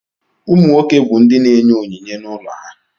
Ụmụ nwoke bụ ndị na-enye onyinye n'ụlọ ha.